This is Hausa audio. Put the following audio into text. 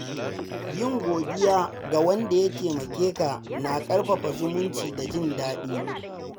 Yin godiya ga wanda ya taimakeka na ƙarfafa zumunci da jin daɗi.